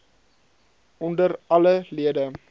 onder alle lede